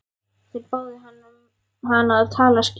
Þeir báðu hann að tala skýrar.